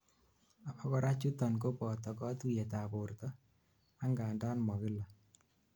abakora chuton koboto kotuyet ab borto, angandan mo kila